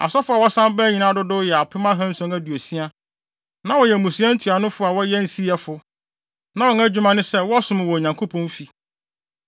Asɔfo a wɔsan bae nyinaa dodow yɛ apem ahanson aduosia. Na wɔyɛ mmusua ntuanofo a wɔyɛ nsiyɛfo. Na wɔn adwuma ne sɛ, wɔsom wɔ Onyankopɔn fi.